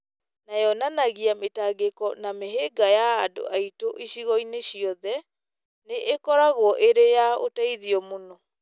na yonanagia mĩtangĩko na mĩhĩnga ya andũ aitũ icigo-inĩ ciothe, nĩ ĩkoragwo ĩrĩ ya ũteithio mũno.